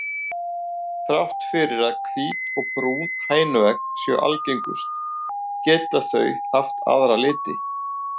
Þrátt fyrir að hvít og brún hænuegg séu algengust geta þau haft aðra liti.